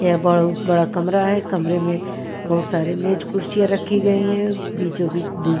यह बहुत बड़ा कमरा है कमरे में बहुत सारे मेज कुर्सियाँ रखी गई हैं बीचो बीच दी --